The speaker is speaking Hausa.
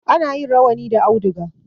Ana yin rawani da auduga.